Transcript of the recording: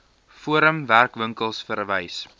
forum werkwinkels verwys